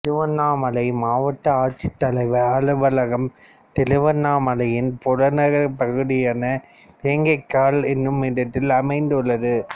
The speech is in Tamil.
திருவண்ணாமலை மாவட்ட ஆட்சித்தலைவர் அலுவலகம் திருவண்ணாமலையின் புறநகர் பகுதியான வேங்கிக்கால் எனுமிடத்தில் அமைந்துள்ளது